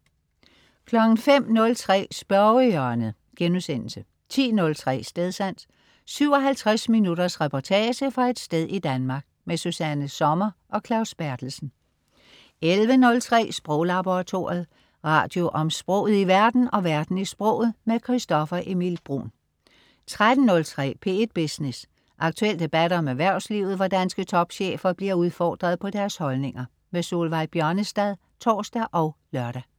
05.03 Spørgehjørnet* 10.03 Stedsans. 57 minutters reportage fra et sted i Danmark. Susanna Sommer og Claus Berthelsen 11.03 Sproglaboratoriet. Radio om sproget i verden og verden i sproget. Christoffer Emil Bruun 13.03 P1 Business. Aktuel debat om erhvervslivet, hvor danske topchefer bliver udfordret på deres holdninger. Solveig Bjørnestad (tors og lør)